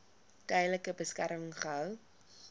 tydelike beskerming gehou